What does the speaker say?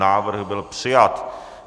Návrh byl přijat.